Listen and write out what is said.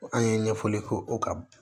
An ye ɲɛfɔli k'o kan